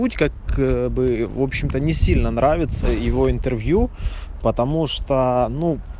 путь как бы в общем-то не сильно нравится его интервью потому что ну